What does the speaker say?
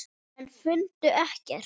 En fundu ekkert.